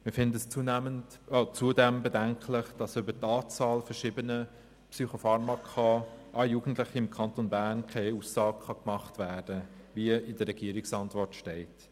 Wir halten es zudem für bedenklich, dass über die Anzahl verschriebener Psychopharmaka an Jugendliche im Kanton Bern keine Aussage gemacht werden kann, wie in der Regierungsantwort steht.